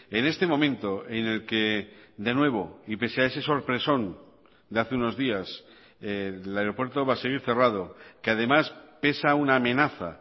en este momento en el que de nuevo y pese a ese sorpresón de hace unos días el aeropuerto va a seguir cerrado que además pesa una amenaza